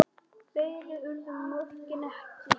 Fleiri urðu mörkin ekki.